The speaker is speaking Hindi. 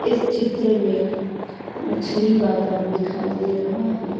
इस चित्र में मछली बाजार दिखाई दे रहा है।